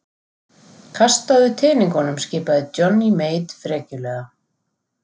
Kastaðu teningunum skipaði Johnny Mate frekjulega.